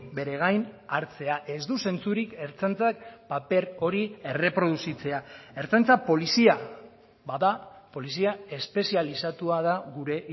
beregain hartzea ez du zentzurik ertzaintzak paper hori erreproduzitzea ertzaintza polizia bada polizia espezializatua da gure